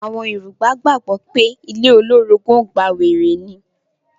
Àwọn Yorùbá gbàgbọ́ pé ilé olórogùn ọgbà wèrè ní.